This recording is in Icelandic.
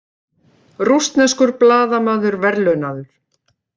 Rússneskur blaðamaður verðlaunaður